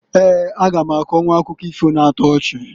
Eeǃ A ga m akọnwụ akụkọ ifo na-ato ochi.